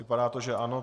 Vypadá to, že ano.